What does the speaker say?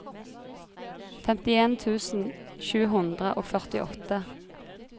femtien tusen sju hundre og førtiåtte